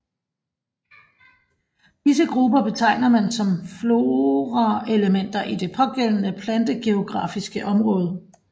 Disse grupper betegner man som floraelementer i det pågældende plantegeografiske område